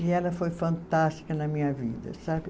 E ela foi fantástica na minha vida, sabe?